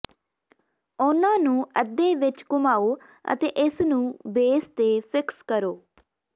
ਉਨ੍ਹਾਂ ਨੂੰ ਅੱਧੇ ਵਿਚ ਘੁਮਾਓ ਅਤੇ ਇਸ ਨੂੰ ਬੇਸ ਤੇ ਫਿਕਸ ਕਰੋ